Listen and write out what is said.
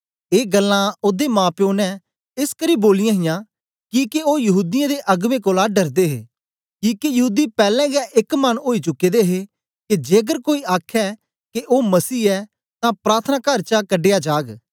ए गल्लां ओदे माप्यो ने एसकरी बोलियां हां किके ओ यहूदीयें दे अगबें कोलां डरदे हे किके यहूदी पैलैं गै एक मन ओई चुके दे हे के जेकर कोई आखे के ओ मसीह ऐ तां प्रार्थनाकार चा कढया जाग